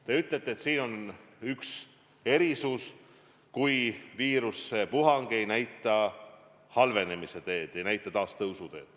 Te ütlete, et peab olema üks tingimus: viirusepuhang ei näita halvenemise teed, ei näita taas tõusuteed.